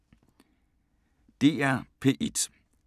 DR P1